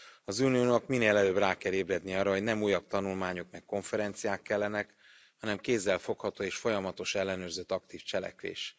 Az Uniónak minél előbb rá kell ébrednie arra, hogy nem újabb tanulmányok, meg konferenciák kellenek, hanem kézzelfogható és folyamatosan ellenőrzött aktív cselekvés.